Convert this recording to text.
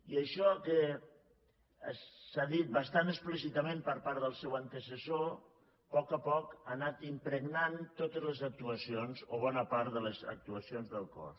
i això que s’ha dit bastant explícitament per part del seu antecessor a poc a poc ha anat impregnant totes les actuacions o bona part de les actuacions del cos